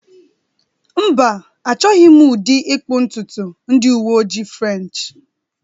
Mba, Achọghị m ụdị ịkpụ ntutu ndị uwe ojii French